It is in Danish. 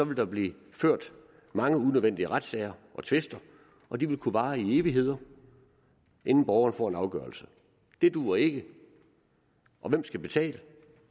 der blive ført mange unødvendige retssager og tvister og de vil kunne vare i evigheder inden borgeren får en afgørelse det duer ikke og hvem skal betale